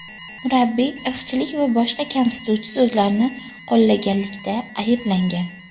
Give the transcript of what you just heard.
Murabbiy irqchilik va boshqa kamsituvchi so‘zlarni qo‘llaganlikda ayblangan.